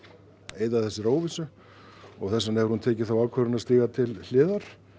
eyða þessari óvissu og þess vegna hefur hún tekið þá ákvörðun að stíga til hliðar